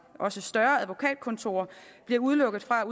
også større advokatkontorer bliver udelukket fra